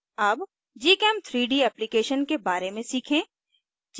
अब gchem3d application के बारे में सीखें